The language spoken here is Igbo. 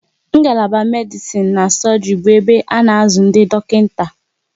Ngalaba Medisin na sọgri bụ ebe a na azụ ndị dọkịta